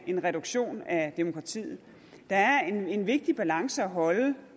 en reduktion af demokratiet der er en vigtig balance at holde